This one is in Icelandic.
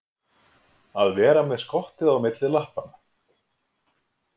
Að vera með skottið á milli lappanna